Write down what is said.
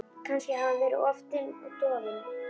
Kannski hafði hann verið of dofinn.